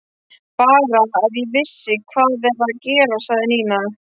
Bara, að ég vissi hvað er að gerast sagði Nína.